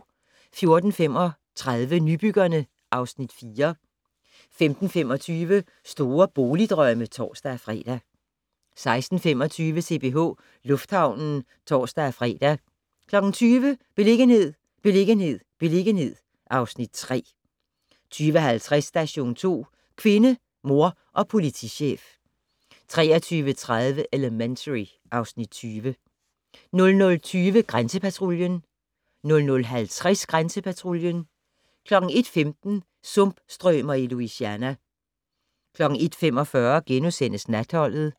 14:35: Nybyggerne (Afs. 4) 15:25: Store boligdrømme (tor-fre) 16:25: CPH Lufthavnen (tor-fre) 20:00: Beliggenhed, beliggenhed, beliggenhed (Afs. 3) 20:50: Station 2: Kvinde, mor og politichef 23:30: Elementary (Afs. 20) 00:20: Grænsepatruljen 00:50: Grænsepatruljen 01:15: Sumpstrømer i Louisiana 01:45: Natholdet *